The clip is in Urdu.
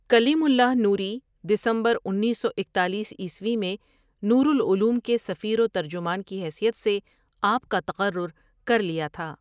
کلیم اللہ نوریؔ دسمبر انیس سو اکتالیس عیسوی میں نور العلوم کے سفیر وترجمان کی حیثیت سے آپ کا تقرر کر لیا تھا۔